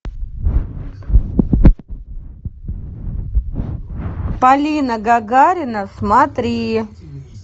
полина гагарина смотри